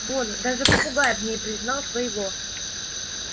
вон даже попугай в ней признал своего